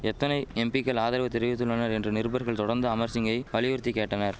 எத்தனை எம்பிக்கள் ஆதரவு தெரிவித்துள்ளனர் என்று நிருபர்கள் தொடர்ந்து அமர் சிங்கை வலியுறுத்தி கேட்டனர்